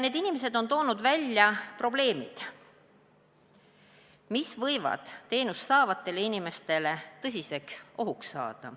Need inimesed on toonud välja probleemid, mis võivad teenust saavatele inimestele tõsiseks ohuks saada.